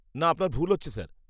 -না, আপনার ভুল হচ্ছে স্যার।